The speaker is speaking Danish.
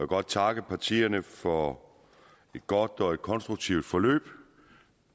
godt takke partierne for et godt og konstruktivt forløb